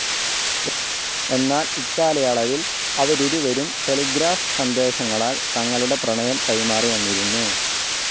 എന്നാൽ ഇക്കാലയളവിൽ അവരിരുവരും ടെലിഗ്രാഫ്‌ സന്ദേശങ്ങളാൽ തങ്ങളുടെ പ്രണയം കൈമാറിവന്നിരുന്നു.